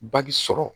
Baji sɔrɔ